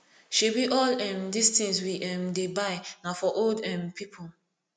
shebi all um dis tins we um dey buy na for old um people